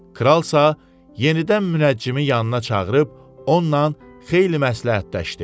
Kralsa yenidən münəccimi yanına çağırıb onunla xeyli məsləhətləşdi.